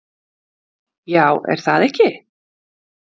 Já, er það ekki?